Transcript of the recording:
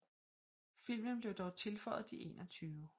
Filmen blev dog tilføjet de 21